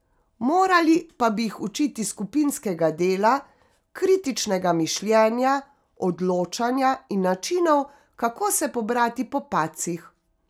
Morali pa bi jih učiti skupinskega dela, kritičnega mišljenja, odločanja in načinov, kako se pobrati po padcih.